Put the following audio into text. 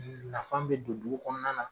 Nafa bɛn don du kɔnɔna na